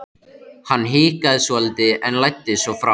Hann hikaði svolítið en læddist svo fram.